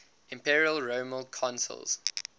imperial roman consuls